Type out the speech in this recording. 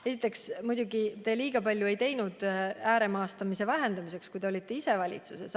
Esiteks, teie ise ei teinud just eriti palju ääremaastumise vähendamiseks, kui te olite valitsuses.